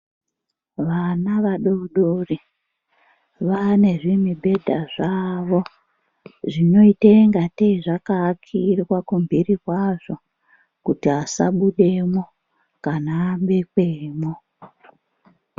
Vana vadodori vane zvimubhedha zvawo zvinoita ngatei zvakaakirwa kumbiri kwazvo kuti asabudamwo kana abekwamo.